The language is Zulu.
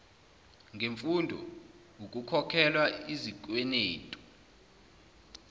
ngemfundo ukukhokhelwa izikwenetu